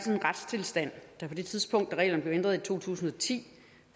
en retstilstand der på det tidspunkt da reglerne blev ændret i to tusind og ti